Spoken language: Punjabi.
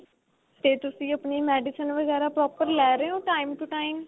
ਤੇ ਤੁਸੀਂ ਆਪਣੀ medicine ਵਗੈਰਾ proper ਲੈ ਰਹੇ ਓ time to time